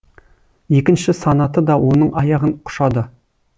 екінші санаты да оның аяғын құшады